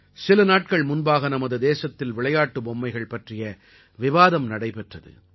சில நாட்கள் முன்பாக நமது தேசத்தில் விளையாட்டு பொம்மைகள் பற்றிய விவாதம் நடைபெற்றது